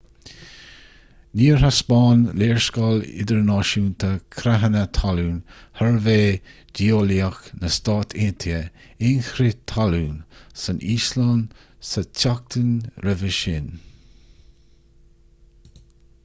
níor thaispeáin léarscáil idirnáisiúnta creathanna talún shuirbhé geolaíoch na stát aontaithe aon chrith talún san íoslainn sa tseachtain roimhe sin